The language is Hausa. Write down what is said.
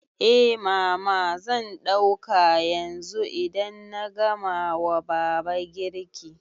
Eh mama, zan ɗauka yanzu idan na gama wa baba girki